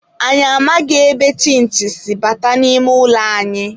Anyị amaghị ebe chinchi si bata n'ime ụlọ anyị.